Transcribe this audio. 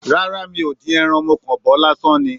Rárá, mi ò dín ẹran. Mo kàn bọ̀ ọ́ lásán ni.